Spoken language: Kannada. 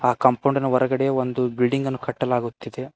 ಆ ಕಾಂಪೌಂಡಿನ ಹೊರಗಡೆ ಒಂದು ಬಿಲ್ಡಿಂಗ್ ಅನ್ನು ಕಟ್ಟಲಾಗುತ್ತಿದೆ.